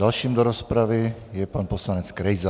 Dalším do rozpravy je pan poslanec Krejza.